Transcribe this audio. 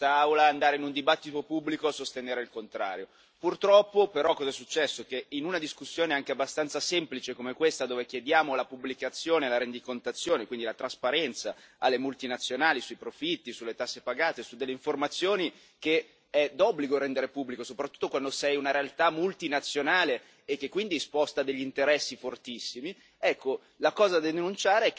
Io sfido chiunque in quest'Aula ad andare in un dibattito pubblico a sostenere il contrario. Purtroppo, però, cosa è successo? È successo che in una discussione anche abbastanza semplice, come questa, dove chiediamo la pubblicazione e la rendicontazione, quindi la trasparenza, alle multinazionali sui profitti, sulle tasse pagate, su delle informazioni che è d'obbligo rendere pubbliche, soprattutto quando sei una realtà multinazionale che quindi sposta degli interessi fortissimi... Ecco,